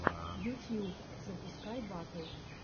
ютьюб запускай батл